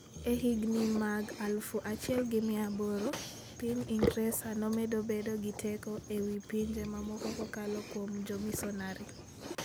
E higini mag 1800, piny Ingresa nomedo bedo gi teko e wi pinje mamoko kokalo kuom jomisonari.